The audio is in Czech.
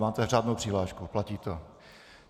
Máte řádnou přihlášku, platí to?